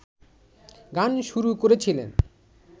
গান শুরু করেছিলেন